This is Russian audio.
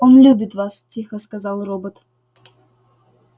он любит вас тихо сказал робот